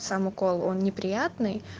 сам укол он неприятный